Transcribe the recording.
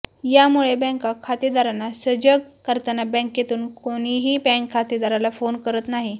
यामुळे बँका खातेदारांना सजग करताना बँकेतून कोणीही बँक खातेदाराला फोन करत नाही